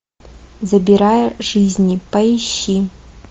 забирая жизни поищи